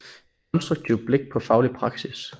Et konstruktivt blik på faglig praksis